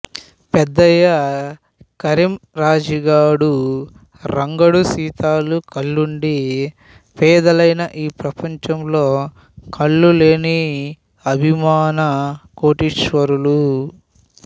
పెద్దయ్య కరీం రాజీగాడు రంగడు సీతాలు కళ్లుండీ పేదలైన ఈ ప్రపంచంలో కళ్లులేని అభిమాన కోటీశ్వరులు